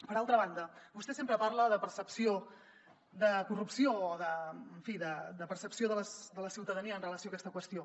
per altra banda vostè sempre parla de percepció de corrupció o en fi de percepció de la ciutadania amb relació a aquesta qüestió